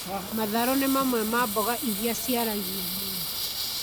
Matharũ nĩ mamwe ma mboga iria ciaragio mũno